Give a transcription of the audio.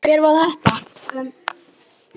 Hver var þetta?